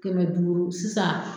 Kɛmɛ duuru sisan